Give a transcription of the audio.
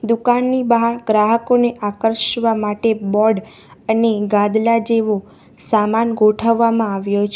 દુકાનની બહાર ગ્રાહકોને આકર્ષવા માટે બોર્ડ અને ગાદલા જેવો સામાન ગોઠવવામાં આવ્યો છે.